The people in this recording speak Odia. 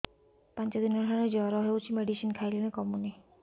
ପାଞ୍ଚ ଦିନ ହେଲାଣି ଜର ହଉଚି ମେଡିସିନ ଖାଇଲିଣି କମୁନି